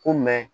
Ko mɛ